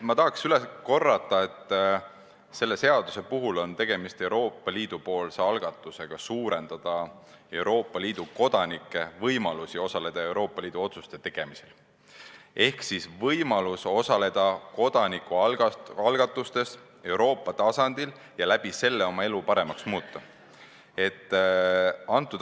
Ma tahan üle korrata, et selle seaduse puhul on tegemist Euroopa Liidu algatusega suurendada Euroopa Liidu kodanike võimalusi osaleda Euroopa Liidu otsuste tegemisel ehk võimalusega osaleda kodanikualgatustes Euroopa tasandil ja sellega oma elu paremaks muuta.